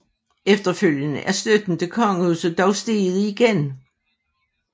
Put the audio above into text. Efterfølgende er støtten til kongehuset dog steget igen